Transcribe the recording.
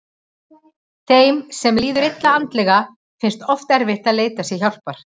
Þeim sem líður illa andlega finnst oft erfitt að leita sér hjálpar.